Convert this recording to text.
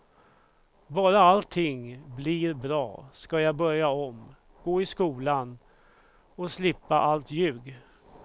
Bara allting blir bra ska jag börja om, gå i skolan och slippa allt ljug.